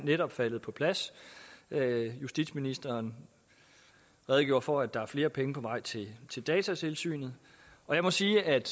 netop faldet på plads justitsministeren redegjorde for at der er flere penge på vej til til datatilsynet og jeg må sige at